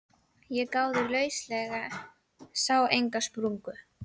Ég gáði lauslega, sá enga sprungu.